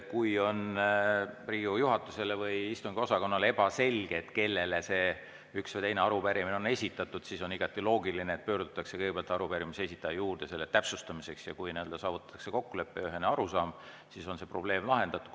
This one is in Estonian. Kui Riigikogu juhatusele või istungiosakonnale on ebaselge, kellele üks või teine arupärimine on esitatud, siis on igati loogiline, et pöördutakse kõigepealt arupärimise esitaja poole selle täpsustamiseks, ja kui saavutatakse kokkulepe ja ühene arusaam, siis on see probleem lahendatud.